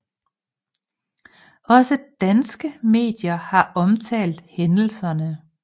Også danske medier har omtalt hændelserne